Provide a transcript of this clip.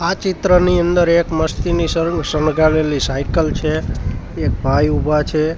આ ચિત્રની અંદર એક મસ્તીની સર્ન સંગારેલી સાયકલ છે એક ભાઈ ઉભા છે.